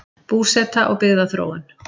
Búseta og byggðaþróun